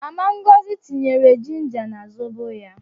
Mama Ngọzi tinyere jinja na zobo ya